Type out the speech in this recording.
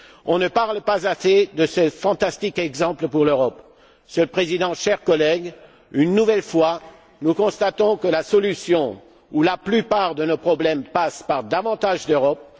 On ne parle pas assez de ces fantastiques exemples pour l'Europe. Monsieur le Président, chers collègues, une nouvelle fois, nous constatons que la solution à la plupart de nos problèmes passe par davantage d'Europe.